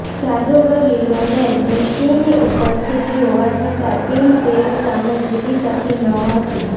જાદુગર Lionel મેસ્સીની ઉપસ્થિતિ હોવા છતાં ટીમ પેરુ સામે જીતી શકી ન હતી